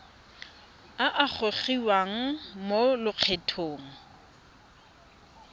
a a gogiwang mo lokgethong